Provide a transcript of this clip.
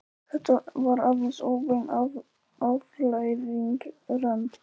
Þetta var aðeins óbein afleiðing rann